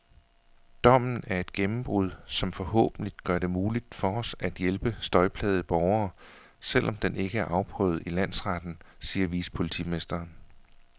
Dommen er et gennembrud, som forhåbentlig gør det muligt for os at hjælpe støjplagede borgere, selv om den ikke er afprøvet i landsretten, siger vicepolitimesteren.